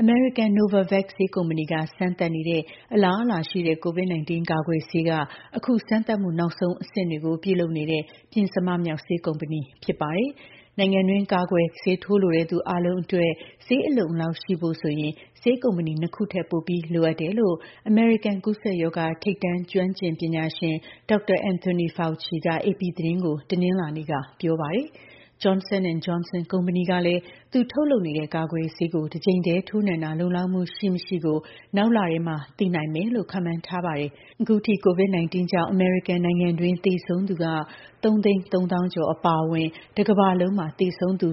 အမေရိကန် Novavax ဆေးကုမ္ပဏီက စမ်းသပ်နေတဲ့ အလားအလာရှိတဲ့ COVID-19 ကာကွယ်ဆေးက အခု စမ်းသပ်မှု နောက်ဆုံးအဆင့်တွေကို ပြုလုပ်နေတဲ့ ပဉ္စမမြောက်ဆေးကုမ္ပဏီလည်း ဖြစ်ပါတယ်။ နိုင်ငံတွင်း ကာကွယ်ဆေးထိုးလိုတဲ့ သူအားလုံးအတွက် ဆေးအလုံအလောက်ရှိဖို့ဆိုရင် ဆေးကုမ္ပဏီ ၂ ခုထက် ပိုပြီးလိုအပ်တယ်လို့ အမေရိကန် ကူးစက်ရောဂါ ထိပ်တန်း ကျွမ်းကျင်ပညာရှင် Dr. Anthony Fauci က AP သတင်းကို တနင်္လာနေ့ကပြောပါတယ်။ Johnson & Johnson ကုမ္ပဏီကလည်း သူ ထုတ်လုပ်နေတဲ့ ကာကွယ်ဆေးကို တစ်ကြိမ်တည်း ထိုးနှံတာ လုံလောက်မှု ရှိ-မရှိကို နောက်လထဲ သိရှိနိုင်လိမ့်မယ်လို့ ခန့်မှန်းထားပါတယ်။ အခု ထိ COVID-19 ကြောင့် အမေရိကန်နိုင်ငံတွင်း သေဆုံးသူက ၃၃၀,၀၀၀ ကျော်အပါအဝင် တကမ္ဘာလုံး သေဆုံးသူ